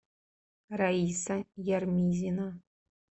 раиса ярмизина